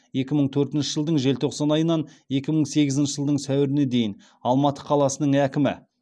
екі мың төртінші жылдың желтоқсан айынан екі мың сегізінші жылдың сәуіріне дейін алматы қаласының әкімі